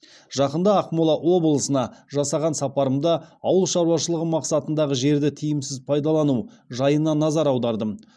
жақында ақмола облысына жасаған сапарымда ауыл шаруашылығы мақсатындағы жерді тиімсіз пайдалану жайына назар аудардым